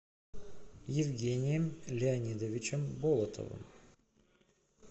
евгением леонидовичем болотовым